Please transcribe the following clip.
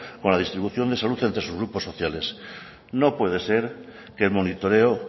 con la distribución de salud entre sus grupos sociales no puede ser que el monitoreo